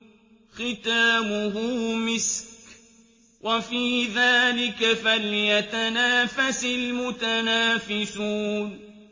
خِتَامُهُ مِسْكٌ ۚ وَفِي ذَٰلِكَ فَلْيَتَنَافَسِ الْمُتَنَافِسُونَ